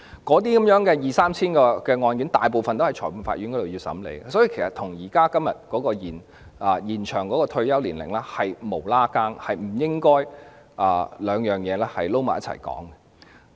那二三千宗案件大部分都會在裁判法院審理，所以與現時有關延展退休年齡的辯論完全無關，不應將兩者混為一談。